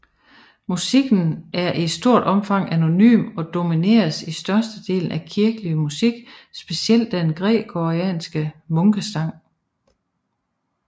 Musikken er i stort omfang anonym og domineres i størstedelen af kirkelig musik specielt den gregorianske munkesang